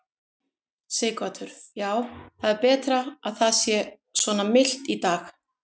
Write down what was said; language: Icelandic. Sighvatur: Já, það er betra að það sé svona milt í dag?